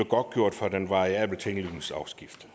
godtgjort for den variable tinglysningsafgift